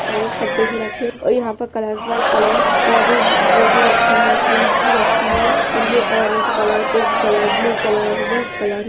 सारे गिरा के और यहाँ कलर बाई कलर पौधे वह भी रखे हैं| ट्रीज भी रखी हैं और ये orange colour pink colour blue colour बहोत कलर --